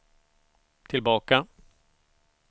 tillbaka